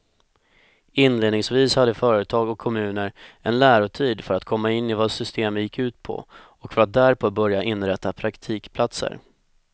Inledningsvis hade företag och kommuner en lärotid för att komma in i vad systemet gick ut på och för att därpå börja inrätta praktikplatser.